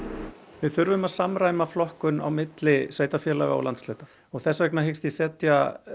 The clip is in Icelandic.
við þurfum að samræma flokkun milli sveitarfélaga og landshluta og þess vegna hyggst ég setja